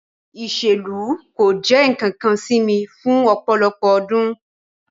Iselu ko jẹ nkankan si mi fun ọpọlọpọ ọdun